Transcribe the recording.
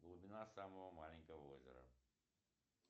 глубина самого маленького озера